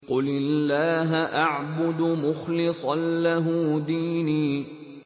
قُلِ اللَّهَ أَعْبُدُ مُخْلِصًا لَّهُ دِينِي